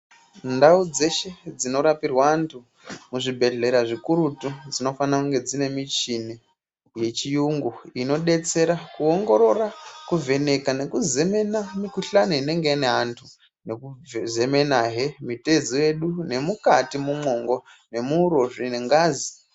Ndau dzeshe dzinorapirwe antu muzvibhedleya zvikurutu, dzinofana dzinemichini yechiyungu inodetsera kuwongorora kuvheneke nekuzemena mikuhlane inenge ine antu, nekuzemenaye mitezo yedu nemukati mumongo nemuurozvi nengazi.